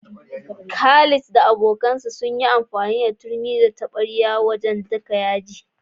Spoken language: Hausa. Khalid da abokansa sun yi amfani da turmi da taɓarya wajen niƙa kayan yaji.